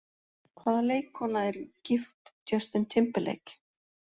Hvaða leikkona er gift Justin Timberlake?